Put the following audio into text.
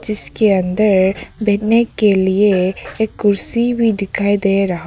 इसके अंदर बैठने के लिए एक कुर्सी भी दिखाई दे रहा--